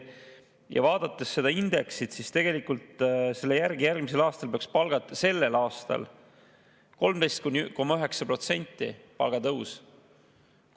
Kui vaadata seda indeksit, siis tegelikult peaks sellel aastal olema kohtunikel ja ministritel 13,9% palgatõus.